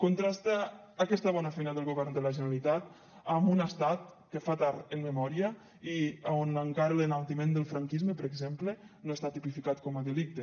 contrasta aquesta bona feina del govern de la generalitat amb un estat que fa tard en memòria i on encara l’enaltiment del franquisme per exemple no està tipificat com a delicte